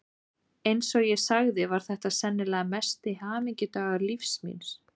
Eins og ég sagði var þetta sennilega mesti hamingudagur lífs míns.